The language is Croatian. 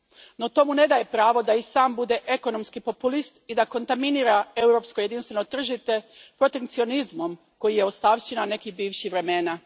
No, to mu ne daje pravo da i sam bude ekonomski populist i da kontaminira europsko jedinstveno tržište protekcionizmom koji je ostavština nekih bivših vremena.